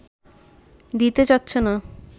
দিতে চাচ্ছে না